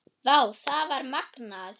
Vá, það var magnað.